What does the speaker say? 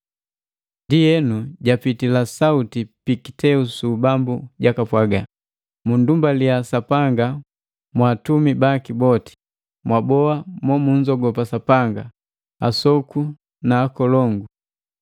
Ndienu, japitila sauti pi kiteu su ubambu jakapwaga, “Mundumbaliya Sapanga mwaatumi baki boti, mwaboa mo munzogopa Sapanga, asoku na akolongu.